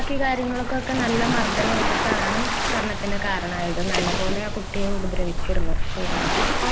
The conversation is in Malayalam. മറ്റു കാര്യങ്ങൾക്കൊക്കെ നല്ല മർദ്ധനമേറ്റിട്ടാണ് മരണത്തിനു കാരണമായത് . നല്ലപോലെ ആ കുട്ടിയെ ഉപദ്രവിച്ചിരുന്നു പോലീസ്